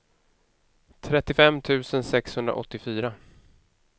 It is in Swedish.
trettiofem tusen sexhundraåttiofyra